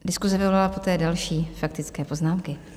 Diskuse vyvolala poté další faktické poznámky.